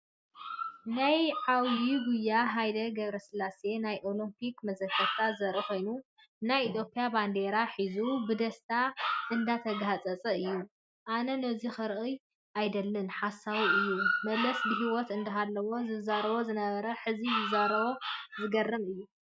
ናይ ዓብዩ ጉያ ሃይለ ገ/ስላሴ ናይ ኦሎፒክ መዘከርታ ዘርኢ ኮይኑ ናይ ኢትዮጰያ ባንዴራ ሒዙ እንብደስታ እንዳተጋህፀፀ እዩ። ኣነ ነዙይ ክሪኦ ኣይደልን ሓሳዊ እዩ መለስ ብሂወት እንዳሃለወ ዝዛረቦ ዝነበረን ሕዚ ዝዛረቦን ዝገርም እዩ።